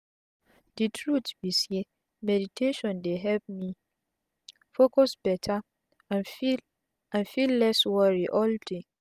de truth be say meditation dey help me focus beta and feel and feel less worry all day.